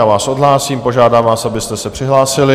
Já vás odhlásím, požádám vás, abyste se přihlásili.